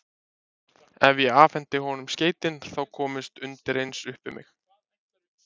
Ef ég afhendi honum skeytin, þá kemst undireins upp um mig.